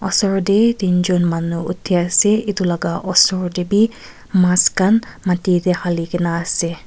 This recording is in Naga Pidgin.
osor de tin jun manu uthia ase etu la osor de b maas khan mati de hali gina na ase.